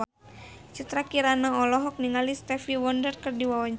Citra Kirana olohok ningali Stevie Wonder keur diwawancara